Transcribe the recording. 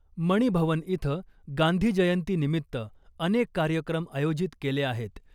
मणी भवन इथं गांधीजयंतीनिमित्त अनेक कार्यक्रम आयोजित केले आहेत .